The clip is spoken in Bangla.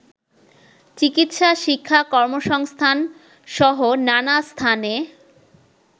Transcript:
চিকিৎসা, শিক্ষা, কর্মসংস্থানসহ নানা স্থানে